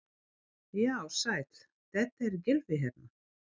Já, sæll, þetta er Gylfi hérna.